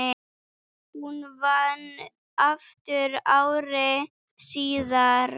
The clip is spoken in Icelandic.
Hún vann aftur ári síðar.